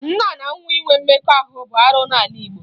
Nne na nwa inwe mmekọ bụ arụ n'ala Igbo